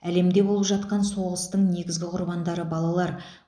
әлемде болып жатқан соғыстың негізгі құрбандары балалар